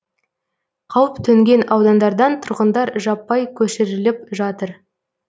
қауіп төнген аудандардан тұрғындар жаппай көшіріліп жатыр